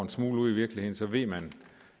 smule ud i virkeligheden så ved man